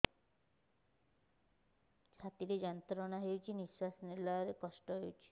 ଛାତି ରେ ଯନ୍ତ୍ରଣା ହେଉଛି ନିଶ୍ଵାସ ନେବାର କଷ୍ଟ ହେଉଛି